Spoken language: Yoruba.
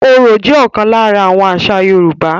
Orò jẹ́ ókan lara àwọn àṣà Yorùbá.